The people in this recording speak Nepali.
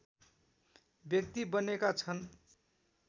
व्यक्ति बनेका छन्